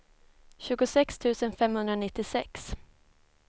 tjugosex tusen femhundranittiosex